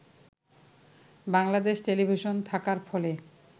Bangladesh television থাকার ফলে